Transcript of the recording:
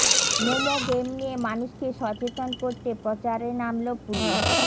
momo game নিয়ে মানুষকে সচেতন করতে প্রচারে নামল পুলিশ